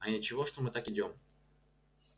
а ничего что мы так идём